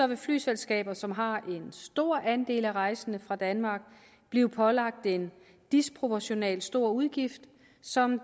vil flyselskaber som har en stor andel af rejsende fra danmark blive pålagt en disproportionalt stor udgift som